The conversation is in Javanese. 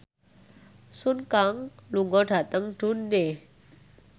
Sun Kang lunga dhateng Dundee